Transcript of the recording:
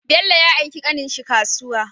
Bello ya aiki ƙanin shi kasuwa